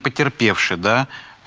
потерпевший да